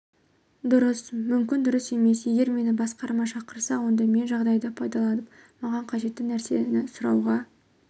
дұрыс мүмкін дұрыс емес егер мені басқарма шақырса онда мен жағдайды пайдаланып маған қажетті нәрсені сұрауға